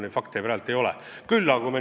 Minul selliseid fakte praegu teada ei ole.